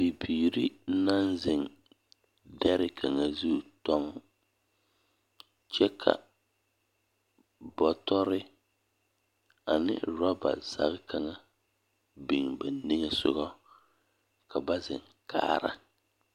Bibiiri naŋ zeŋ dɛre kaŋa zu dɔŋ. Kyɛ ka bɔtɔre ane rɔba zage kaŋa biŋ ba niŋe sɔgɔ ka ba zeŋ kaara.